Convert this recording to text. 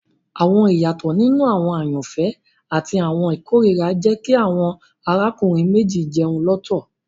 Awọn iyatọ ninu awọn ayanfẹ ati awọn ikorira jẹ ki awọn arákùnrin méjì jẹun lọtọ